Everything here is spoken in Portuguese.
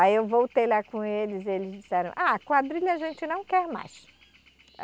Aí eu voltei lá com eles e eles disseram, a quadrilha a gente não quer mais.